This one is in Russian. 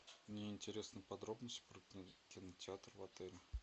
мне интересны подробности про кинотеатр в отеле